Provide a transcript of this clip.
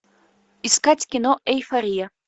искать кино эйфория